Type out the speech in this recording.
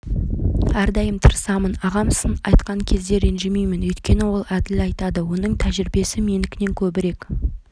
әрдайым тырысамын ағам сын айтқан кезде ренжімеймін өйткені ол әділ айтады оның тәжірибесі менікінен көбірек